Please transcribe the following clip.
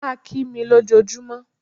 Má a kí mi ló jọ júmọ́.